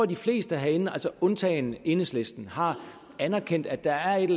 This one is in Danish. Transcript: de fleste herinde altså alle undtagen enhedslisten har anerkendt at der er en